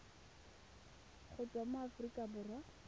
go tswa mo aforika borwa